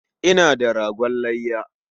Ina da ragon layya.